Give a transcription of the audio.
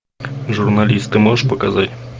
журналисты можешь показать